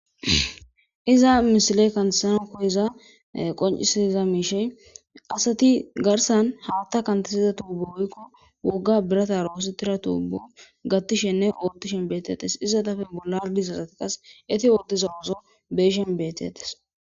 iza misile kansankoeza qoncisiza miishey asati garsan hawatta kantasiza tuubu hoykko wogga birata roositira tuubo gattishenne oottishen beetetes iza dafe bollardi sasati qas eti ootde zawozo beeshen beetetes